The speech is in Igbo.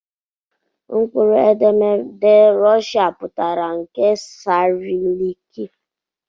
Mkpụrụedemede Rushia pụtara nke Sairilịịki